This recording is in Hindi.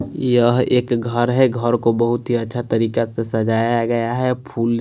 यहाँ एक घर है। घर को बहोत अच्छा तरीका से सजाया गया है। फूल--